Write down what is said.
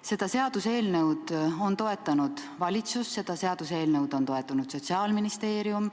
Seda seaduseelnõu on toetanud valitsus, seda seaduseelnõu on toetanud Sotsiaalministeerium,